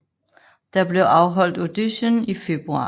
Der blev afholdt auditions i februar